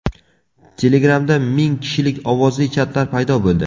Telegram’da ming kishilik ovozli chatlar paydo bo‘ldi.